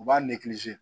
U b'a